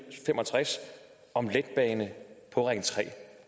fem og tres om letbane på ring tre